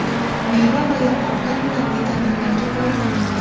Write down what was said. Meva va yong‘oqlar bilan vitaminlarga boyiting.